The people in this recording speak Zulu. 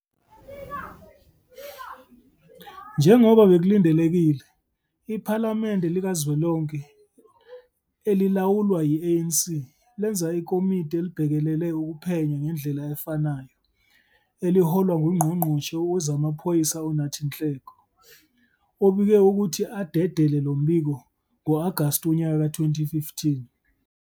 Njengoba bekulindelekile, iPhalamende likazwelonke elilawulwa yi-ANC lenza ikomidi elibhekelele ukuphenya ngendlela efanayo eliholwa nguNgqongqoshe WezamaPhoyisa uNathi Nhleko, obike ukuthi adedele lo mbiko ngo-Agasti wonyaka ka-2015.